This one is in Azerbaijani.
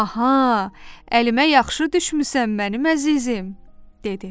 Aha, əlimə yaxşı düşmüsən mənim əzizim, dedi.